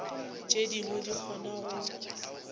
tše dingwe di kgona go